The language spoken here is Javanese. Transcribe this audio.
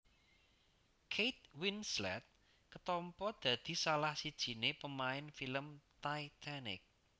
Kate Winslet ketampa dadi salah sijine pemain film Titanic